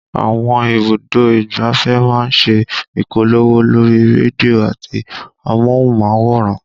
Àwọn ibùdó ìgbáfẹ́ máa ń ṣe ìpolówó lórí rédíò àti amóhùnmáwòrán